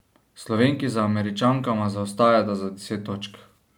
Slovenki za Američankama zaostajata za deset točk.